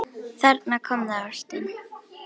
Þarna kom það: Ástin.